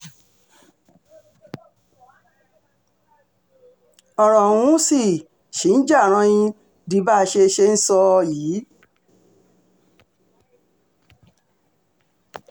ọ̀rọ̀ ọ̀hún sì um ṣì ń já ranyìn di bá a ṣe ṣe ń sọ um yìí